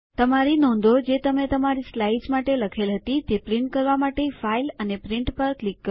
તમારી નોંધો જે તમે તમારી સ્લાઇડ્સ માટે લખેલ હતી તે પ્રિન્ટ કરવા માટે ફાઇલ અને પ્રિન્ટ પર ક્લિક કરો